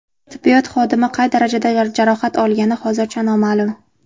Tibbiyot xodimi qay darajada jarohat olgani hozircha noma’lum.